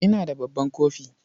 Ina da babban kofi.